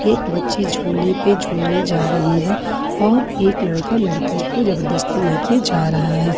एक बच्ची झूले पे झूलने जा रही हैं और एक लड़का लड़की को जबरदस्ती ले के जा रहा है।